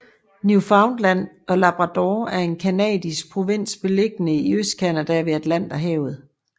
Newfoundland og Labrador er en canadisk provins beliggende i Østcanada ved Atlanterhavet